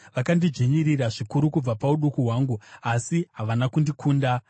“Vakandidzvinyirira zvikuru kubva pauduku hwangu, asi havana kundikunda.